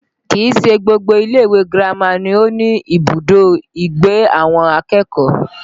Kìí ṣe gbogbo ilé ìwé girama ni ó ní ibùdó ìgbé àwọn akẹ́kọ̀ọ́